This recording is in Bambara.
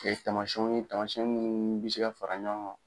Ka ye tamasiyɛnw ye tamasiyɛn minnu bɛ se ka fara ɲɔgɔn kan.